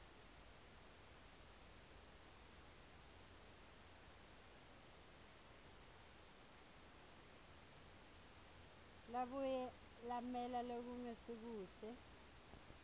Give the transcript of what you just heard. labuye lamela lokungasikuhle